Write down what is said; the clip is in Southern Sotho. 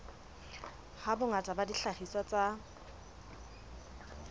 ha bongata ba dihlahiswa tsa